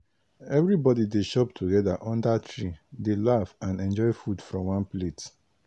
everybody dey chop together under tree dey laugh and enjoy food from one plate.